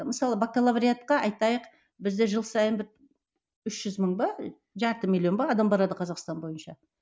мысалы бакалавриатқа айтайық бізде жыл сайын бір үш жүз мың ба жарты миллион ба адам барады қазақстан бойынша